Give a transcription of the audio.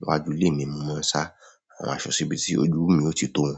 Iwájú lè mi mo máa ń sá àwọn aṣọ síbi tí ojúùú mi ó ti tó wọn.